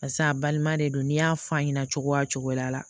Pase a balima de don n'i y'a f'a ɲɛna cogoya o cogoya la